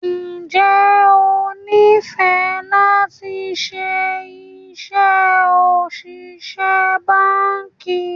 Ǹjẹ́ o sì nifẹ lati ṣe iṣẹ́ òṣìṣẹ́ báńkì?